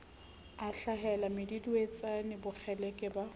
a hlahela meduduetsane bokgeleke ba